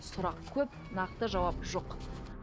сұрақ көп нақты жауап жоқ